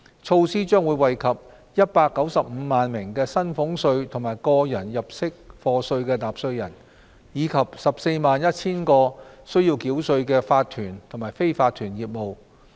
措施將惠及195萬名薪俸稅及個人入息課稅納稅人，以及 141,000 個須繳稅的法團及非法團業務。